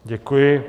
Děkuji.